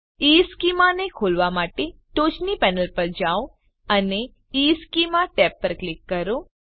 ઇશ્ચેમાં ને ખોલવા માટે ટોચની પેનલ પર જાઓ અને ઇશ્ચેમાં ટેબ પર ક્લિક કરો